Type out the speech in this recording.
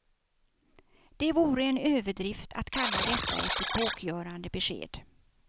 Det vore en överdrift att kalla detta ett epokgörande besked.